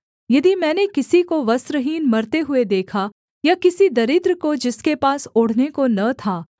यदि मैंने किसी को वस्त्रहीन मरते हुए देखा या किसी दरिद्र को जिसके पास ओढ़ने को न था